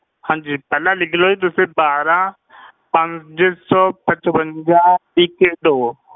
ਹਾਂਜੀ ਪਹਿਲਾਂ ਲਿਖ ਲਓ ਜੀ ਤੁਸੀਂ ਬਾਰਾਂ ਪੰਜ ਸੌ ਪਚਵੰਜਾ ਇੱਕੀ ਦੋ।